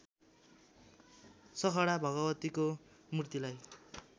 सखडा भगवतीको मूर्तिलाई